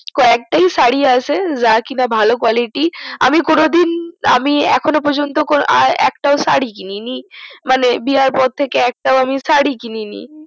ক একটি সারি আছে যা ভালো কলিটি আমি কোনো দিন আমি এখনো পর্যন্ত একটা সারী কিনিনি মানে বিয়ে পর থাকে একটা সারি কিনিনি